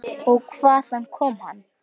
Og hvaðan kom hann?